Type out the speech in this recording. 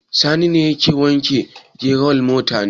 Sani ne yake wanke wa general mota ne?